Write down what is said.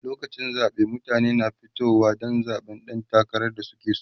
lokacin zaɓe mutane na fitowa Dan zaɓan ɗan takarar da suke so